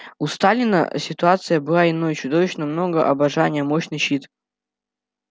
у сталина ситуация была иной чудовищно много обожания мощный щит